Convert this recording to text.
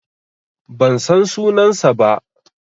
Ban san sunansa ba.